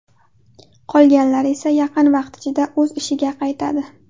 Qolganlar esa yaqin vaqt ichida o‘z ishiga qaytadi.